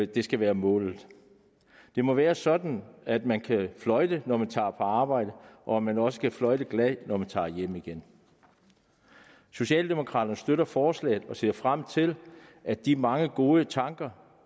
det skal være målet det må være sådan at man kan fløjte når man tager på arbejde og at man også kan fløjte glad når man tager hjem igen socialdemokraterne støtter forslaget og ser frem til at de mange gode tanker